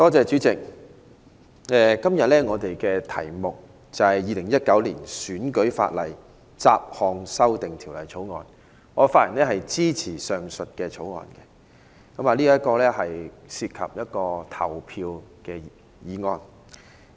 主席，今天是討論《2019年選舉法例條例草案》，我發言支持《條例草案》。這是一項涉及投票的法案。